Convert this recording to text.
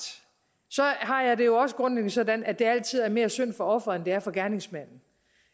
har jeg det jo også grundlæggende sådan at det altid er mere synd for offeret end det er for gerningsmanden